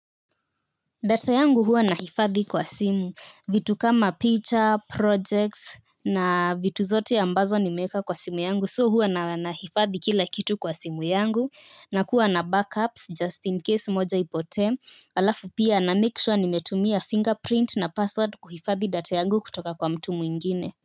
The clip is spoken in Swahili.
Data yangu huwa nahifadhi kwa simu vitu kama picha projects na vitu zote ambazo nimeweka kwa simu yangu so huwa nahifadhi kila kitu kwa simu yangu nakuwa na backups just in case moja ipote. Halafu pia namake sure nimetumia finger print na password kuhifadhi data yangu kutoka kwa mtu mwingine.